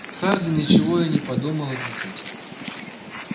хардин ничего и не подумал отрицать